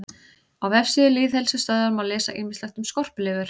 Á vefsíðu Lýðheilsustöðvar má lesa ýmislegt um skorpulifur.